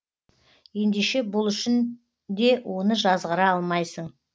ендеше бұл үшін де оны жазғыра алмайсың